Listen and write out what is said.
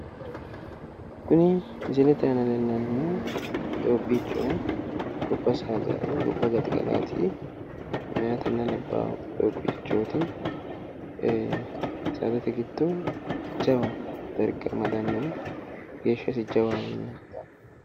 Kuni misilete aana leellannohu doobbichoho gobba saadaati meyaatena labbaa doobbichoot saadate giddo jawa darga amadanoho geeshas jawaho.